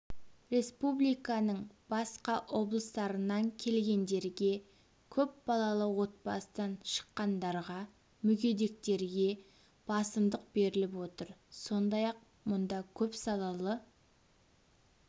республиканың басқа облыстарынан келгендерге көп балалы отбасыдан шыққандарға мүгедектерге басымдық беріліп отыр сондай-ақ мұнда көпсалалы